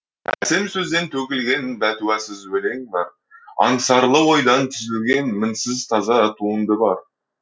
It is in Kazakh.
әсем сөзден төгілген бәтуасыз өлең бар аңсарлы ойдан түзілген мінсіз таза туынды бар